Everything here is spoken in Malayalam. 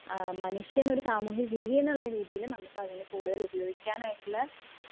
മനുഷ്യൻ ഒരു സാമൂഹിക ജീവി എന്ന രീതിയില് നമുക്ക് അതിന് കൂടുതൽ ഉപയോഗിക്കാൻ ആയിട്ട് ഉള്ള